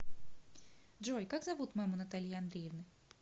джой как зовут маму натальи андреевны